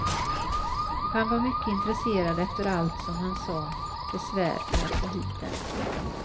Han var mycket intresserad efter allt, som han sade, besvär för att få hit dem.